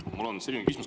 Mul on selline küsimus.